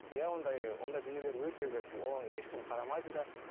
иә ондай ондай дүниелер өте көп оны ешкім қарамайды да